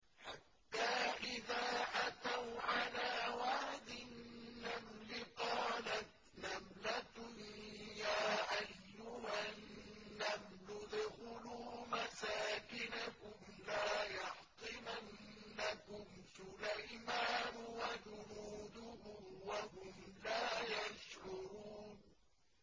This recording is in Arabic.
حَتَّىٰ إِذَا أَتَوْا عَلَىٰ وَادِ النَّمْلِ قَالَتْ نَمْلَةٌ يَا أَيُّهَا النَّمْلُ ادْخُلُوا مَسَاكِنَكُمْ لَا يَحْطِمَنَّكُمْ سُلَيْمَانُ وَجُنُودُهُ وَهُمْ لَا يَشْعُرُونَ